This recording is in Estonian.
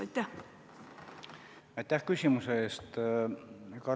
Aitäh küsimuse eest!